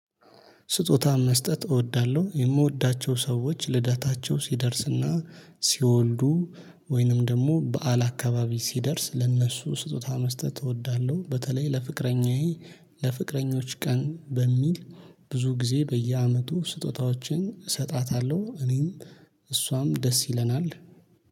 ስጦታ መስጠት እወዳለሁ የምወዳቸው ሰዎች ልደታቸው ሲደርስና ሲወልዱ ወይንም ደግሞ በዓል አካባቢ ሲደርስ ለእነሱ ስጦታ መስጠት እወዳለሁ። በተለይ ለፍቅረኛዬ ለፍቅረኞች ቀን በሚል ብዙ ጊዜ በየአመቱ ስጦታዎችን እሰጣታለሁ። እኔም እሷም ደስ ይለናል